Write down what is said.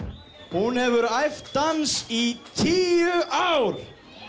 hún hefur æft dans í tíu ár